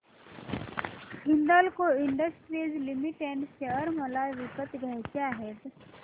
Hindalco industries limited share मला विकत घ्यायचे आहेत